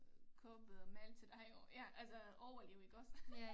Købe mad til dig og ja altså overleve iggås